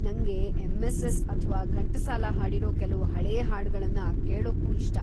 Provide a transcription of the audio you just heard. ನಂಗೆ ಎಂ.‌ಎಸ್.‌ಎಸ್.‌ ಅಥ್ವಾ ಘಂಟಸಾಲ ಹಾಡಿರೋ ಕೆಲ್ವು ಹಳೇ ಹಾಡ್ಗಳನ್ನ ಕೇಳೂಕ್ಕೂ ಇಷ್ಟ.